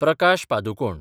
Prakash Padukone